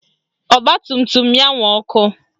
Ọgbatumtum ya nwe ọkụ